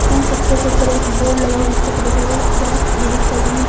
उन पत्थर के ऊपर बोर्ड लगा हुआ है जिसके ऊपर लिखा हुआ है अद्वैत गिरीकर्णी।